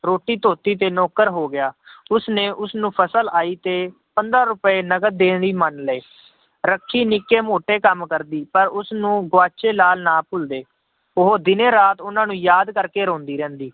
ਰੋਟੀ ਧੋਤੀ ਤੇ ਨੌਕਰ ਹੋ ਗਿਆ ਉਸਨੇ ਉਸਨੂੰ ਫਸਲ ਆਈ ਤੇ, ਪੰਦਰਾਂ ਰੁਪਏ ਨਕਦ ਦੇਣ ਲਈ ਮੰਨ ਲਏ ਰੱਖੀ ਨਿੱਕੇ ਮੋਟੇ ਕੰਮ ਕਰਦੀ ਪਰ ਉਸਨੂੰ ਗੁਆਚੇ ਲਾਲ ਨਾ ਭੁੱਲਦੇ, ਉਹ ਦਿਨੇ ਰਾਤ ਉਹਨਾਂ ਨੂੰ ਯਾਦ ਕਰਕੇ ਰੋਂਦੀ ਰਹਿੰਦੀ